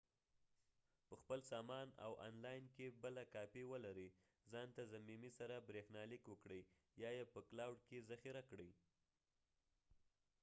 په خپل سامان او آن لاین کې بله کاپي ولرئ ځان ته ضمیمي سره بريښنا ليک وکړئ ، یا یې په کلاؤډ کې ذخیره کړئ